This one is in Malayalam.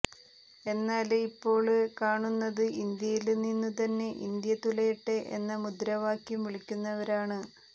എന്നാല് ഇപ്പോള് കാണുന്നത് ഇന്ത്യയില് നിന്നു തന്നെ ഇന്ത്യ തുലയട്ടെ എന്ന മുദ്രാവാക്ക്യം വിളിക്കുന്നവരാണ്